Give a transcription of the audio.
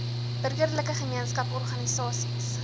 burgerlike gemeenskaps organisasies